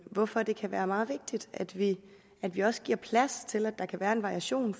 hvorfor det kan være meget vigtigt at vi at vi også giver plads til at der kan være en variation